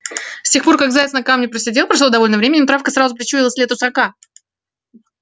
с тех пор как заяц на камне посидел прошло довольно времени но травка сразу причуяла след русака